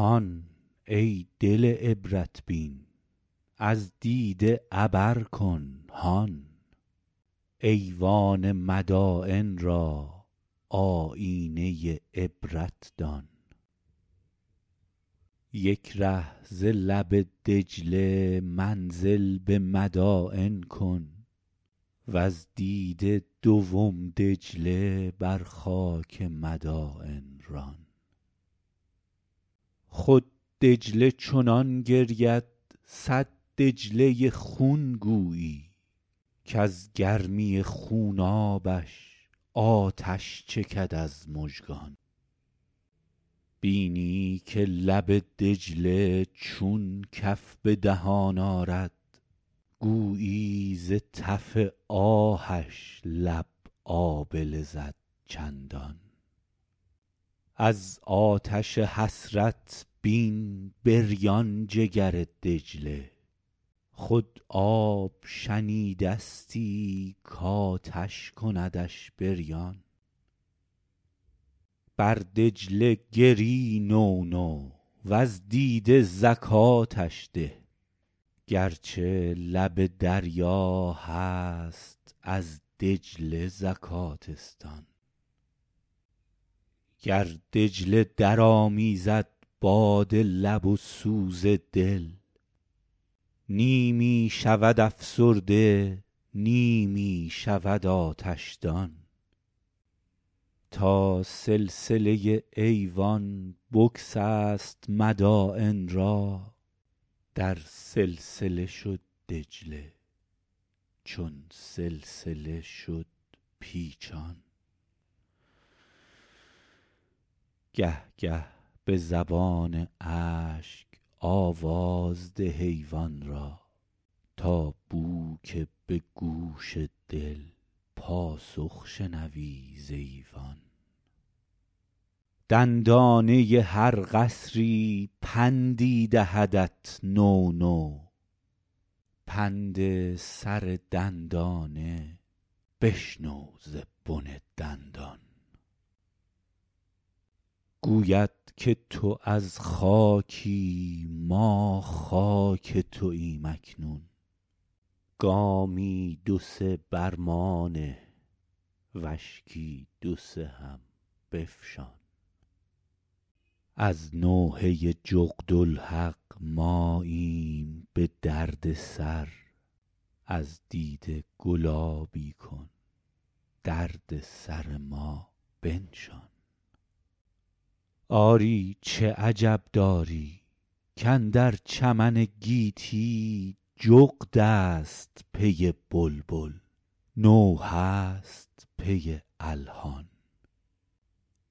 هان ای دل عبرت بین از دیده عبر کن هان ایوان مداین را آیینه عبرت دان یک ره ز لب دجله منزل به مداین کن وز دیده دوم دجله بر خاک مداین ران خود دجله چنان گرید صد دجله خون گویی کز گرمی خونابش آتش چکد از مژگان بینی که لب دجله چون کف به دهان آرد گویی ز تف آهش لب آبله زد چندان از آتش حسرت بین بریان جگر دجله خود آب شنیده ستی کآتش کندش بریان بر دجله گری نونو وز دیده زکاتش ده گرچه لب دریا هست از دجله زکات استان گر دجله درآمیزد باد لب و سوز دل نیمی شود افسرده نیمی شود آتش دان تا سلسله ایوان بگسست مداین را در سلسله شد دجله چون سلسله شد پیچان گه گه به زبان اشک آواز ده ایوان را تا بو که به گوش دل پاسخ شنوی ز ایوان دندانه هر قصری پندی دهدت نو نو پند سر دندانه بشنو ز بن دندان گوید که تو از خاکی ما خاک توایم اکنون گامی دو سه بر ما نه و اشکی دو سه هم بفشان از نوحه جغدالحق ماییم به درد سر از دیده گلابی کن درد سر ما بنشان آری چه عجب داری کاندر چمن گیتی جغد است پی بلبل نوحه ست پی الحان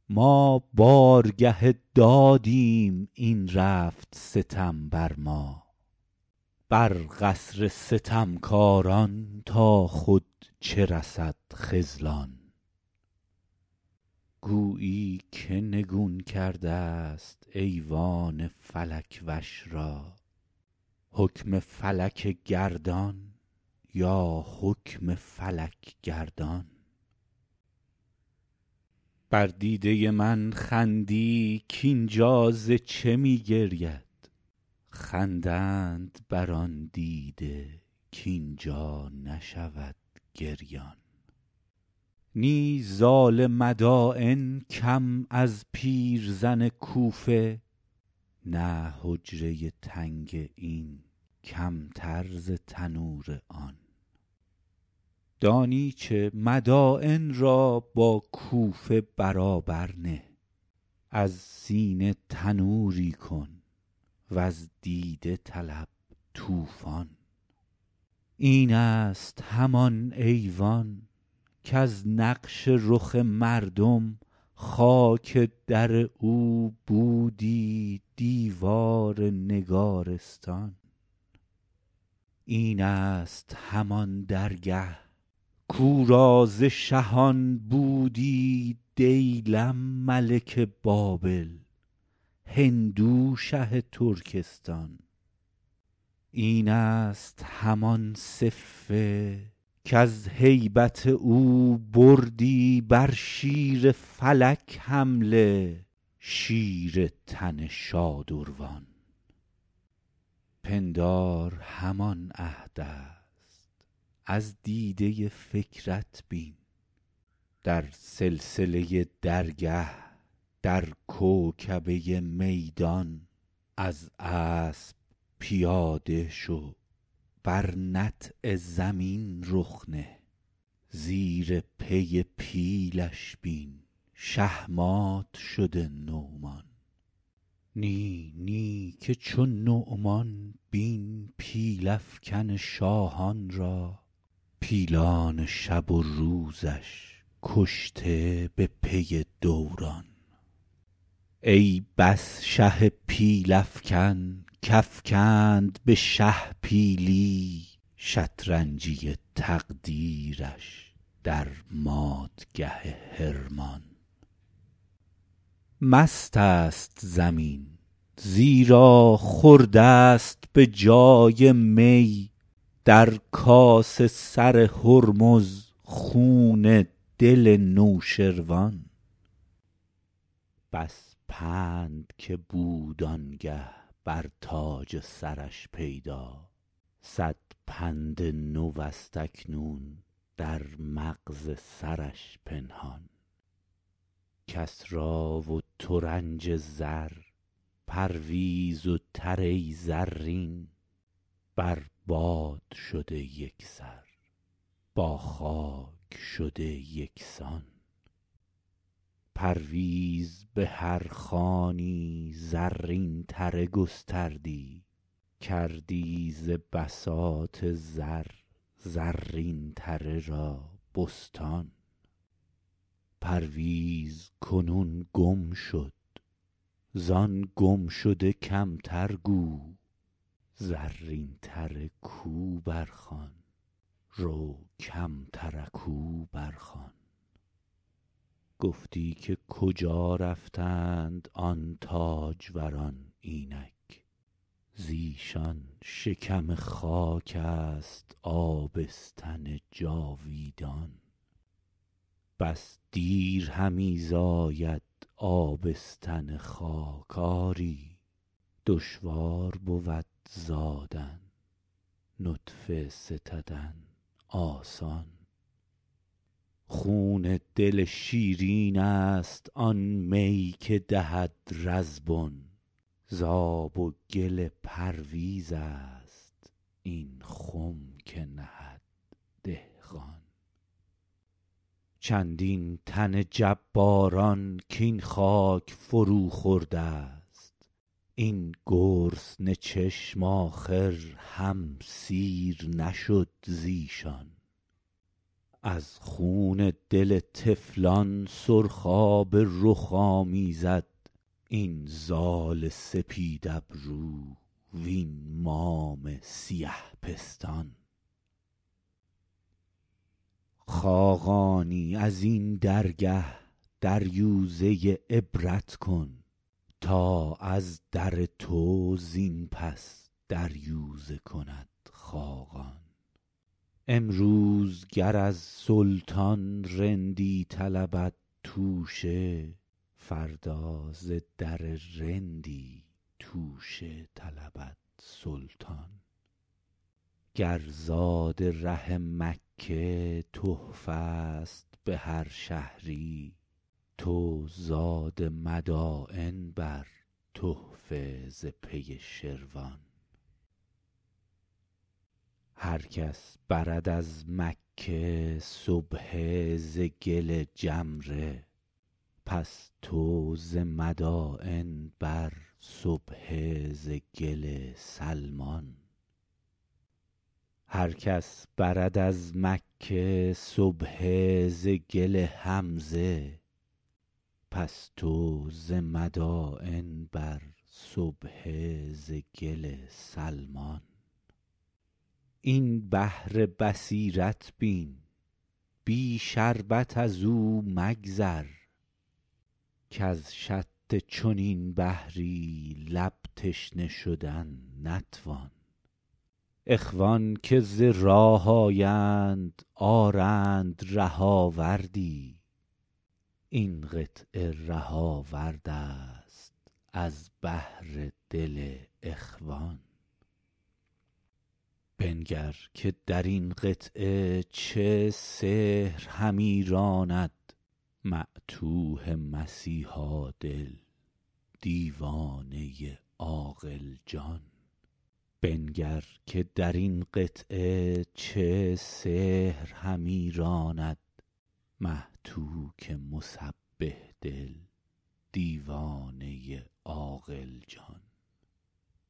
ما بارگه دادیم این رفت ستم بر ما بر قصر ستمکاران تا خود چه رسد خذلان گویی که نگون کرده ست ایوان فلک وش را حکم فلک گردان یا حکم فلک گردان بر دیده من خندی کاینجا ز چه می گرید خندند بر آن دیده کاین جا نشود گریان نی زال مداین کم از پیرزن کوفه نه حجره تنگ این کم تر ز تنور آن دانی چه مداین را با کوفه برابر نه از سینه تنوری کن وز دیده طلب طوفان این است همان ایوان کز نقش رخ مردم خاک در او بودی دیوار نگارستان این است همان درگه کاو را ز شهان بودی دیلم ملک بابل هندو شه ترکستان این است همان صفه کز هیبت او بردی بر شیر فلک حمله شیر تن شادروان پندار همان عهد است از دیده فکرت بین در سلسله درگه در کوکبه میدان از اسب پیاده شو بر نطع زمین رخ نه زیر پی پیلش بین شهمات شده نعمان نی نی که چو نعمان بین پیل افکن شاهان را پیلان شب و روزش کشته به پی دوران ای بس شه پیل افکن کافکند به شه پیلی شطرنجی تقدیرش در مات گه حرمان مست است زمین زیرا خورده ست به جای می در کاس سر هرمز خون دل نوشروان بس پند که بود آنگه بر تاج سرش پیدا صد پند نو است اکنون در مغز سرش پنهان کسری و ترنج زر پرویز و به زرین بر باد شده یک سر با خاک شده یک سان پرویز به هر خوانی زرین تره گستردی کردی ز بساط زر زرین تره را بستان پرویز کنون گم شد زان گم شده کم تر گو زرین تره کو برخوان رو کم ترکوا برخوان گفتی که کجا رفتند آن تاج وران اینک ز ایشان شکم خاک است آبستن جاویدان بس دیر همی زاید آبستن خاک آری دشوار بود زادن نطفه ستدن آسان خون دل شیرین است آن می که دهد رزبن ز آب و گل پرویز است آن خم که نهد دهقان چندین تن جباران کاین خاک فرو خورده ست این گرسنه چشم آخر هم سیر نشد ز ایشان از خون دل طفلان سرخاب رخ آمیزد این زال سپید ابرو وین مام سیه پستان خاقانی ازین درگه دریوزه عبرت کن تا از در تو زین پس دریوزه کند خاقان امروز گر از سلطان رندی طلبد توشه فردا ز در رندی توشه طلبد سلطان گر زاد ره مکه تحفه ست به هر شهری تو زاد مداین بر تحفه ز پی شروان هرکس برد از مکه سبحه ز گل جمره پس تو ز مداین بر سبحه ز گل سلمان این بحر بصیرت بین بی شربت از او مگذر کز شط چنین بحری لب تشنه شدن نتوان اخوان که ز راه آیند آرند ره آوردی این قطعه ره آورد است از بهر دل اخوان بنگر که در این قطعه چه سحر همی راند معتوه مسیحا دل دیوانه عاقل جان